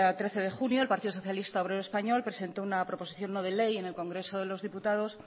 trece de junio el partido socialista obrero español presentó una proposición no de ley en el congreso de los diputados